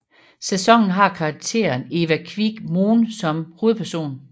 Sæsonen har karakteren Eva Kviig Mohn som hovedperson